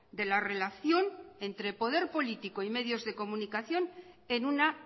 de la relación entre poder político y medios de comunicación en una